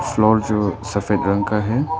Floor जो सफेद रंग का है।